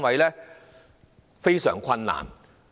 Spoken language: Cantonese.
這是非常困難的。